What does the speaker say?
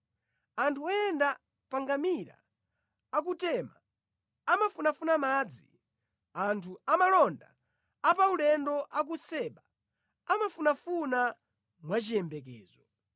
Anthu oyenda pa ngamira a ku Tema amafunafuna madzi, anthu amalonda apaulendo a ku Seba amafunafuna mwa chiyembekezo.